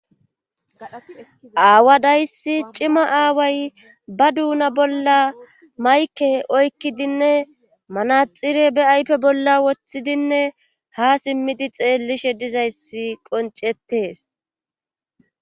Aawaday issi cima aaway ba doona bolla mayikke oykkidinne manaxire bea ayife bolla woththidinne ha simmidi xeellishe diza issi qoncettes.